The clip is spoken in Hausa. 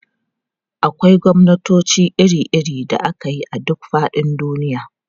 Akwai gwamnatoci iri-iri da ake yi a duk faɗin duniya.